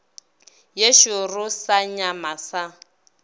ye šoro sa nyama sa